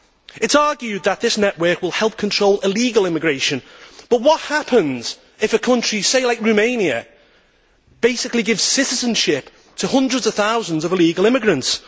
It is argued that this network will help control illegal immigration, but what happens if a country like Romania, for example, basically gives citizenship to hundreds of thousands of illegal immigrants?